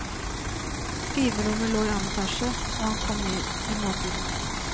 Skriverommet lå i annen etasje, og han kom ned til måltidene.